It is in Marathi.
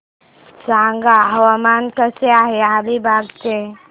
सांगा हवामान कसे आहे अलिबाग चे